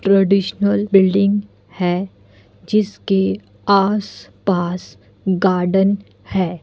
Traditional building है जिसके आसपास गार्डन है।